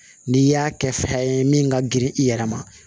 N'i y'a kɛ fɛn ye min ka girin i yɛrɛ ma